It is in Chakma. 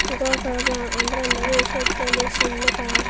ghor parapang under under oyi sot dole cin nw piy.